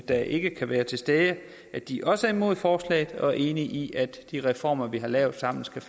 der ikke kan være til stede at de også er imod forslaget og er enige i at de reformer vi har lavet sammen skal